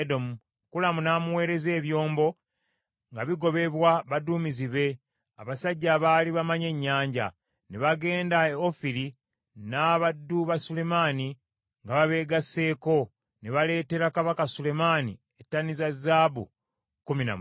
Kulamu n’amuweereza ebyombo, nga bigobebwa baduumizi be, abasajja abaali bamanyi ennyanja. Ne bagenda e Ofiri n’abaddu ba Sulemaani nga babeegasseko, ne baaleetera kabaka Sulemaani ettani za zaabu kkumi na musanvu.